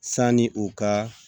Sanni u ka